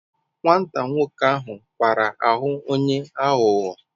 Nwata nwoke ahu kwara ahu onye aghugho